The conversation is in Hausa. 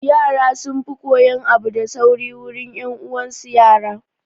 Yara sun fi koyan abu da sauri wurin 'yan uwan su yara